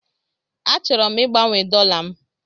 Achọrọ m igbanwe dollar m.